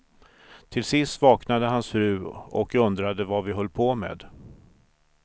Till sist vaknade hans fru och undrade vad vi höll på med.